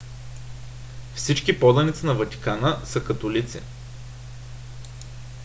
всички поданици на ватикана са католици